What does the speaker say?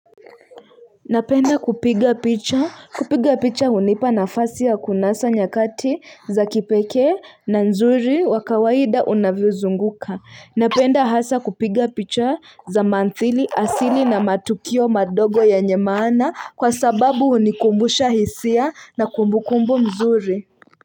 Napenda kupiga picha kupiga picha hunipa nafasi ya kunasa nyakati za kipekee na nzuri wa kawaida unavyozunguka napenda hasa kupiga picha za mantili asili na matukio madogo yenye maana kwa sababu hunikumbusha hisia na kumbukumbu mzuri.